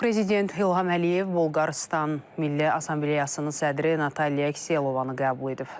Prezident İlham Əliyev Bolqarıstan Milli Assambleyasının sədri Natalya Kselovanı qəbul edib.